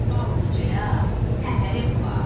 Ballıcaya səfərim var.